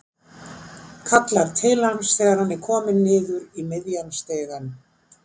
Kallar til hans þegar hann er kominn niður í miðjan stigann.